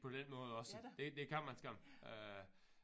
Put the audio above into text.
På den måde også det det kan man skam øh